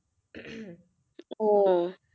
ও